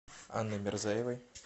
анной мирзаевой